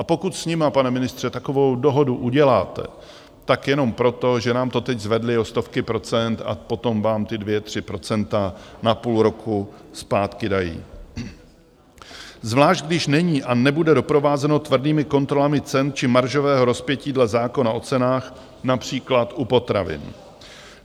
A pokud s nimi, pane ministře, takovou dohodu uděláte, tak jenom proto, že nám to teď zvedli o stovky procent a potom vám ty dvě, tři procenta na půl roku zpátky dají, zvlášť když není a nebude doprovázeno tvrdými kontrolami cen či maržového rozpětí dle zákona o cenách, například u potravin.